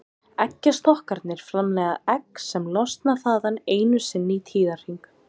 Eggjastokkarnir framleiða egg sem losna þaðan einu sinni í tíðahring.